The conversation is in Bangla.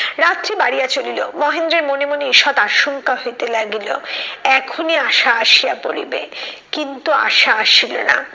রাত্রি বাড়িয়া চলিল মহেন্দ্রের মনে মনে ঈষৎ আশঙ্কা হইতে লাগিল এখনই আশা আসিয়া পড়িবে, কিন্তু আশা আসিল না।